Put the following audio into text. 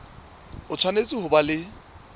o tshwanetse ho ba le